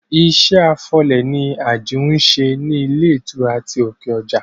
Iṣẹ́ afọ ilẹ̀ ni Àjìún ń ṣe ní ilé ìtura ti òkè ọjà